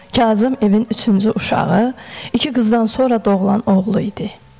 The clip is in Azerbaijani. Kazım evin üçüncü uşağı, iki qızdan sonra doğulan oğlu idi.